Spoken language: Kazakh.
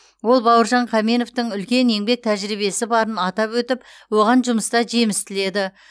ол бауыржан қаменовтің үлкен еңбек тәжірибесі барын атап өтіп оған жұмыста жеміс тіледі